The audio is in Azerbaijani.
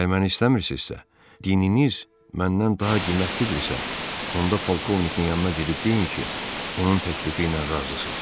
Əgər məni istəmirsinizsə, dininiz məndən daha qiymətlidirsə, onda polkovnikin yanına gedib deyin ki, onun təklifi ilə razısınız.